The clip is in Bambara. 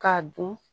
K'a dun